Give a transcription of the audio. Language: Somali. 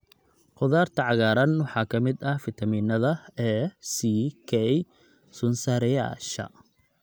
Khudaarta cagaaran waxaa ka mid ah fiitamiinada A, C, K, sun-saareyaasha